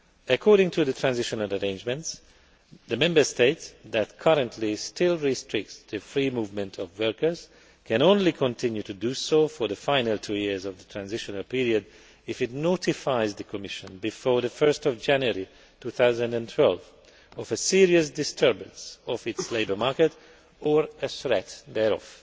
According to the transitional arrangements, a Member States that currently still restricts the free movement of workers can only continue to do so for the final two years of the transitional period if it notifies the Commission before 1 January 2012 of a serious disturbance of its labour market, or a threat thereof.